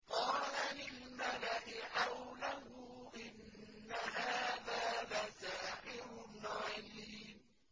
قَالَ لِلْمَلَإِ حَوْلَهُ إِنَّ هَٰذَا لَسَاحِرٌ عَلِيمٌ